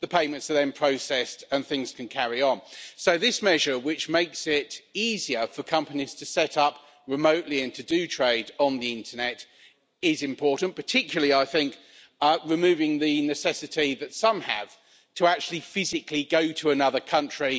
the payments are then processed, and things can carry on. So this measure, which makes it easier for companies to set up remotely and to do trade on the Internet is important particularly, I think, removing the necessity that some have to actually physically go to another country.